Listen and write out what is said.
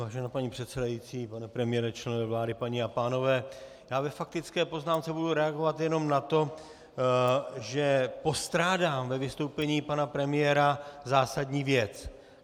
Vážená paní předsedající, pane premiére, členové vlády, paní a pánové, já ve faktické poznámce budu reagovat jenom na to, že postrádám ve vystoupení pana premiéra zásadní věc.